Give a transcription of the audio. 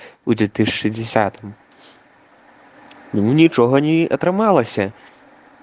будет ты шестидесятым ничога не атрымалася